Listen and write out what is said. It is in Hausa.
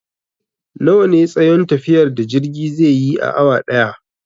Nawa ne tsayon tafiyar da jirge zai yi a awa ɗaya?